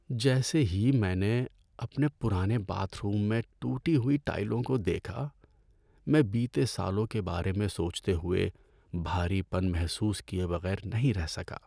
جیسے ہی میں نے اپنے پرانے باتھ روم میں ٹوٹی ہوئی ٹائلوں کو دیکھا، میں بتیے سالوں کے بارے میں سوچتے ہوئے، بھاری پن محسوس کیے بغیر نہیں رہ سکا۔